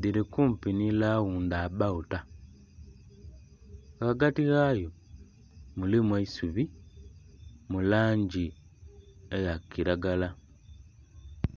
dili kumpi ni lawundabawuta. Ghaghati ghayo mulimu eisubi mu langi eya kilagala